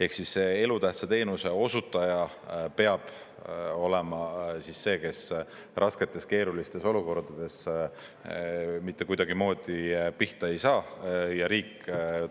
Ehk siis elutähtsa teenuse osutaja peab olema see, kes rasketes keerulistes olukordades mitte kuidagimoodi pihta ei saa ja riik